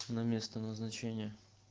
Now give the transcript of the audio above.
на место назначения